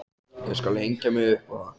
Ég skal hengja mig upp á það!